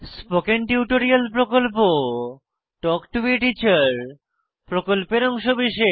spoken tutorial প্রকল্প talk to a teacher প্রকল্পের অংশবিশেষ